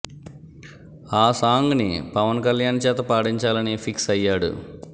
ఆ సాంగ్ ని పవన్ కళ్యాణ్ చేత పాడించాలని ఫిక్స్ అయ్యాడు